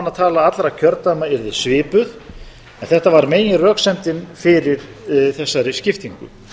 að þingmannatala allra kjördæma yrði svipuð en þetta var meginröksemdin fyrir þessari skiptingu